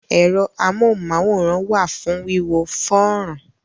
Ẹ̀rọ amóhùn-máwòrán wà fún wíwo fọ́nrán.